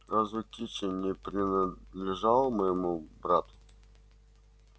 разве кичи не принадлежала моему брату